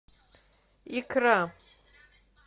икра